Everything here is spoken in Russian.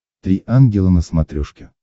три ангела на смотрешке